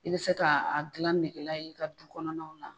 I bɛ se ka a dilan negela ye i ka du kɔnɔnaw la